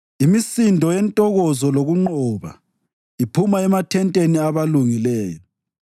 Imisindo yentokozo lokunqoba iphuma emathenteni abalungileyo: “Isandla sokunene sikaThixo senzile izinto ezinkulu!